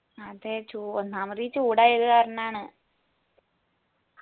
അതേ ചൂ ഒന്നാമത് ഇ ചൂടായ ഒക്കെ കാർണാന്ന്